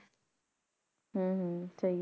ਹਮ ਹਮ ਸਹੀ